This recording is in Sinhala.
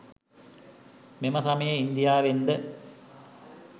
මෙම සමයේ ඉන්දියාවෙන් ද